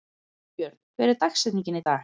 Jónbjörn, hver er dagsetningin í dag?